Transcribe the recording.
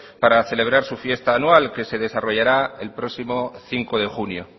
para celebrar su fiesta anual que se desarrollará el próximo cinco de junio